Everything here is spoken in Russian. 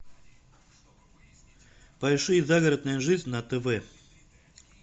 поищи загородная жизнь на тв